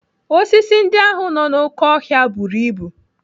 Osisi ndị ahụ nọ n'oké ọhịa buru ibu.